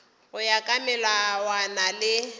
go ya ka melawana le